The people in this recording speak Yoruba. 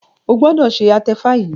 o gbọdọ ṣe atefa yí!